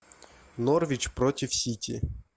норвич против сити